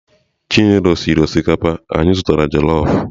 Chinelo siri osikapa obodo anyị zụtara jelọf